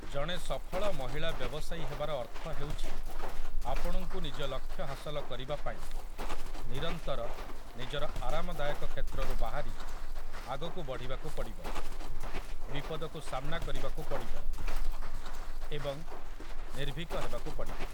ଜଣେ ସଫଳ ମହିଳା ବ୍ୟବସାୟୀ ହେବାର ଅର୍ଥ ହେଉଛି, ଆପଣଙ୍କୁ ନିଜ ଲକ୍ଷ୍ୟ ହାସଲ କରିବାପାଇଁ ନିରନ୍ତର ନିଜର ଆରାମଦାୟକ କ୍ଷେତ୍ରରୁ ବାହାରି ଆଗକୁ ବଢ଼ିବାକୁ ପଡ଼ିବ, ବିପଦକୁ ସାମ୍ନା କରିବାକୁ ପଡ଼ିବ ଏବଂ ନିର୍ଭୀକ ହେବାକୁ ପଡ଼ିବ ।